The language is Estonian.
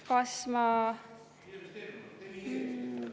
Kas ma …